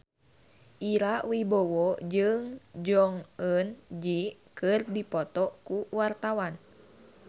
Ira Wibowo jeung Jong Eun Ji keur dipoto ku wartawan